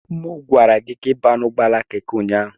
M gwara gị ka ị baa n'ụgbọala Keke ụnyaahụ.